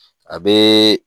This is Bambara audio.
A bee